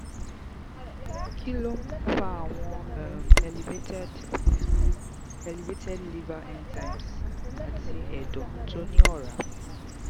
kí ló fa àwọn um elevated um elevated liver enzymes àti ẹ̀dọ̀ tó ní ora?